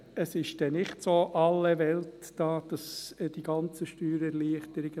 Es ist dann nicht so alle Welt, diese ganzen Steuererleichterungen.